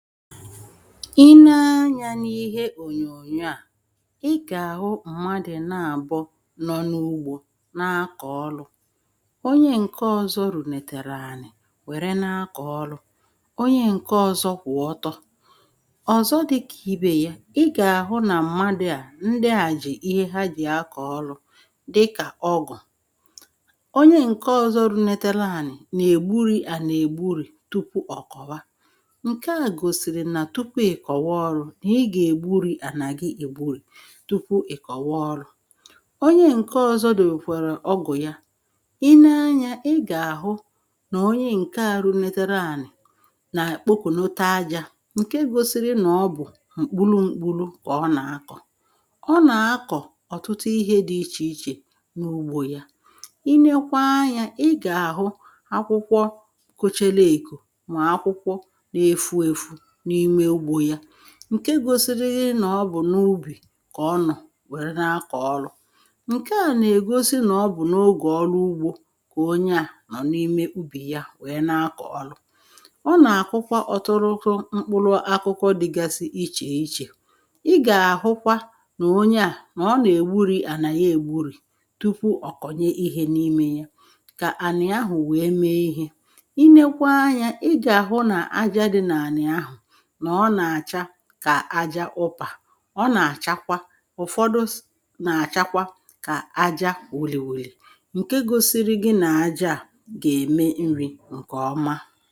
i nee anyȧ n’ihe ònyònyo à ịgà àhụ mmadụ̀ na-àbọ nọ n’ụgbọ̇ na-akọ̀ọlụ̇ onye ǹke ọ̀zọ rùnètèrè ànị̀ wère na-akọ̀ọlụ̇ onye ǹke ọ̀zọ kwụ̀ ọtọ ọ̀zọ dịkà ibè ya ịgà àhụ nà mmadụ̇ à ndị à jì ihe ha dì akọ̀ọlụ̇ dịkà ọgụ̀ onye ǹke ọ̀zọ runètèrè ànị̀ nà-ègburì ànà ègburu̇ tupu ọ̀ kọ̀wa tupu ị̀kọ̀wa ọrụ nà i gà-ègburì ànàghị ègburè tupu ị̀kọ̀wa ọrụ onye ǹke ọ̀zọ dị mkwàrà ọgụ̀ ya i nee anyȧ ị gà-àhụ nà onye ǹke à runetere ànị̀ nà kpokù n’ota ajȧ ǹke gosiri nọ̀ọ bụ̀ mkpulu mkpulu kà ọ nà-akọ̀ ọ nà-akọ̀ ọ̀tụtụ ihe dị ichè ichè n’ugbȯ ya i nekwa anyȧ ị gà-àhụ akwụkwọ kȯchelu èkò ma akwụkwọ na-efu efù ǹke gosiri nọ̀ọ bụ̀ n’ubì kà ọ nọ̀ wère na-akọ̀ ọrụ ǹkè a nà-ègosi nọ̀ọ bụ̀ n’ogè ọrụ ugbȯ kà onye à nọ̀ n’ime ubì ya wèe na-akọ̀ ọrụ ọ nà-àkwụkwa ọ̀tụrụkọ mkpụlụ akụkọ dịgasị ichè ichè i gà-àhụkwa nà onye à nọ̀ọ nà-ègburì ànà ya ègbụrụ̀ tupu ọ̀kọ̀nye ihe n’imė ya kà ànị ahụ̀ wèe mee ihe i nekwa anyȧ ị gà-àhụ nà aja dị nà ànị ahụ̀ ka aja u̇pà ọ nà-àchakwa ụ̀fọdụ na-àchakwa kà aja òlì òlì ǹke gosiri gị nà aja à gà-ème nri ǹkè ọma